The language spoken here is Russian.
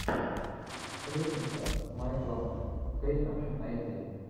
сплетница с майклом кейном найди